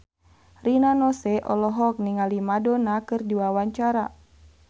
Rina Nose olohok ningali Madonna keur diwawancara